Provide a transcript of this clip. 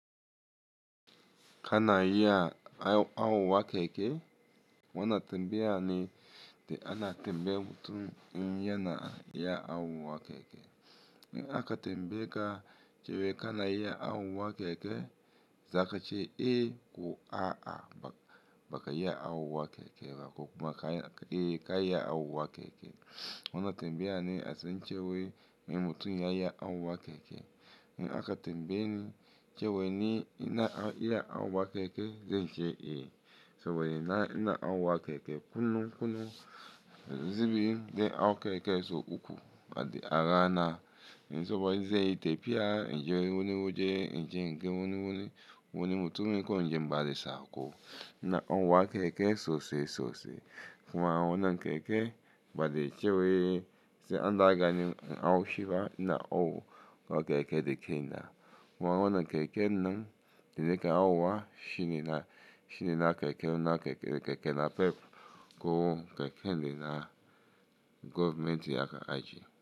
Kana iya awuwa keke wona tembaya ne ana tembata mutum in yana iya awuwa keke. In aka tembe ka chewe kana iya awuwa keke, zaka ce “E” ko “A’a” baka iya awuwa keke ba ko kuma E iya awuwa keke. Wona tembeya ne asen chewe in mutum ya iya awuwa keke. In aka tembe ani chewe ni ina iya awuwa keke, zan ce “E”. Cewa ina awuwa keke kullun kullun zibi de awu keke so uku ba de arana na. In soba ze ite piya in je wune wune in je nke wune wune wune mutum in ko in je inbade sako. Ina awuwa keke sose sose kuma wonan keke ba de chewe se an da agani in awu shifa ina awu ko keke de ke ina. Wonan keke nan dele ka awuwa shini na keke, wona keke na pep ko keke de na government ya ka aji.